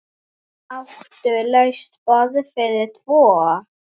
Áttu laust borð fyrir tvo?